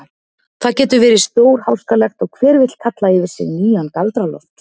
Það getur verið stórháskalegt og hver vill kalla yfir sig nýjan Galdra-Loft.